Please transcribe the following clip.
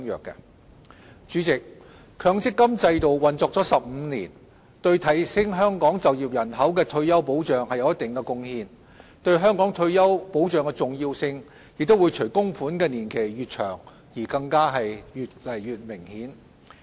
代理主席，強積金制度運作了15年，對提升香港就業人口的退休保障有一定貢獻，對香港退休保障的重要性，亦會隨供款年期越長而越加明顯。